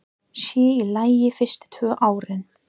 Sér í lagi fyrstu tvö árin.